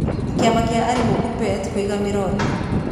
Kĩama kĩa aarimũ kuppet kũiga mĩro thĩ